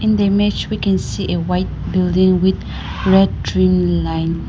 the image we can see a white building with red line